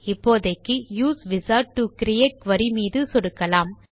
இப்போதைக்கு use wizard to create query மீது சொடுக்கலாம்